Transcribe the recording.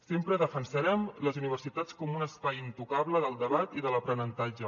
sempre defensarem les universitats com un espai intocable del debat i de l’aprenentatge